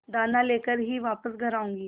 दाना लेकर ही वापस घर आऊँगी